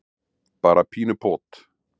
bara pínu pot.